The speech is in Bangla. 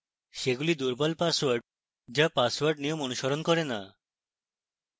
সেগুলি দুর্বল পাসওয়ার্ড যা পাসওয়ার্ড নিয়ম অনুসরণ করে না